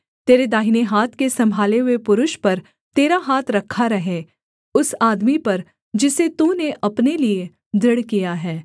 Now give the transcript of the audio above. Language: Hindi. तेरे दाहिने हाथ के सम्भाले हुए पुरुष पर तेरा हाथ रखा रहे उस आदमी पर जिसे तूने अपने लिये दृढ़ किया है